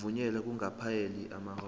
ukuvunyelwa kungakapheli amahora